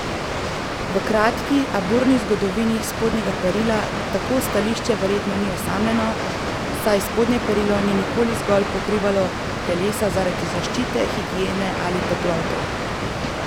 V kratki, a burni zgodovini spodnjega perila tako stališče verjetno ni osamljeno, saj spodnje perilo ni nikoli zgolj pokrivalo telesa zaradi zaščite, higiene ali toplote.